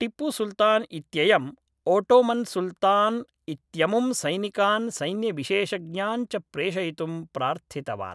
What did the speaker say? टिप्पुसुल्तान् इत्ययम् ओटोमन्सुल्तान् इत्यमुं सैनिकान् सैन्यविशेषज्ञान् च प्रेषयितुं प्रार्थितवान्